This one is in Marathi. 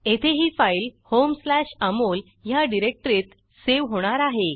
येथे ही फाईल homeअमोल ह्या डिरेक्टरीत सेव्ह होणार आहे